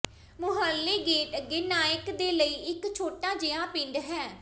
ਮੂਹਰਲੇ gate ਅੱਗੇ ਨਾਇਕ ਦੇ ਲਈ ਇੱਕ ਛੋਟਾ ਜਿਹਾ ਪਿੰਡ ਹੈ